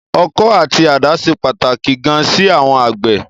Ọkọ́ àti àdá ṣe pàtàkì gan sí àwọn àgbẹ̀.